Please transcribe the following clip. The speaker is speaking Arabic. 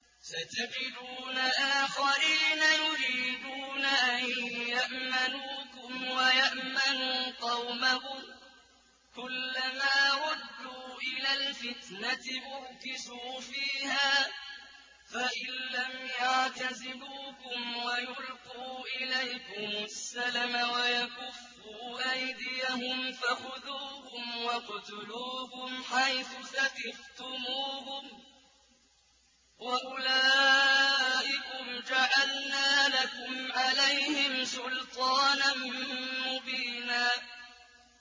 سَتَجِدُونَ آخَرِينَ يُرِيدُونَ أَن يَأْمَنُوكُمْ وَيَأْمَنُوا قَوْمَهُمْ كُلَّ مَا رُدُّوا إِلَى الْفِتْنَةِ أُرْكِسُوا فِيهَا ۚ فَإِن لَّمْ يَعْتَزِلُوكُمْ وَيُلْقُوا إِلَيْكُمُ السَّلَمَ وَيَكُفُّوا أَيْدِيَهُمْ فَخُذُوهُمْ وَاقْتُلُوهُمْ حَيْثُ ثَقِفْتُمُوهُمْ ۚ وَأُولَٰئِكُمْ جَعَلْنَا لَكُمْ عَلَيْهِمْ سُلْطَانًا مُّبِينًا